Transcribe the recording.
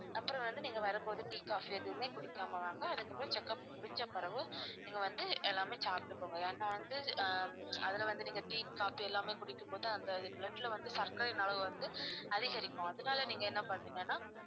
அப்புறம் வந்து நீங்க வரும் போது tea, coffee எதுவுமே குடிக்காம வாங்க அதுக்கப்புறம் check up முடிஞ்ச பிறகு நீங்க வந்து எல்லாமே சாப்பிட்டு போங்க ஏன்னா வந்து ஹம் அதுல வந்து நீங்க tea, coffee எல்லாமே குடிக்கும் போது அந்த blood ல வந்து சர்க்கரையின் அளவு வந்து அதிகரிக்கும் அதனால நீங்க என்ன பண்றீங்கன்னா